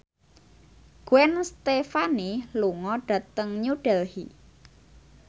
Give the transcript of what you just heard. Gwen Stefani lunga dhateng New Delhi